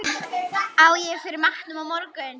Á ég fyrir matnum á morgun?